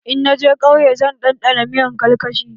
In na je kauye zan ɗanɗana miyan karkashin.